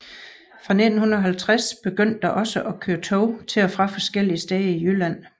Fra 1950 begyndte der også at køre tog til og fra forskellige steder i Jylland